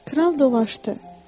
Kral dolaşdı.